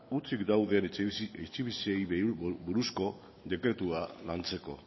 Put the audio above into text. hutsik dauden etxebizitzei buruzko dekretua lantzeko